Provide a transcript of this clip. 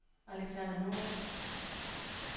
Alexander Norup